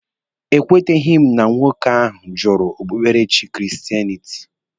E kweteghi m na nwoke ahụ jụrụ okpukperechi kristenịtị.